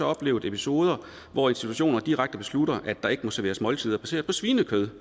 oplevet episoder hvor institutioner direkte beslutter at der ikke må serveres måltider baseret på svinekød